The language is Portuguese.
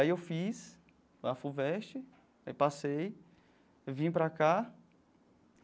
Aí eu fiz a Fuvest, aí passei, eu vim para cá.